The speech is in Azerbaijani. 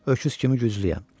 Öküz kimi güclüyəm.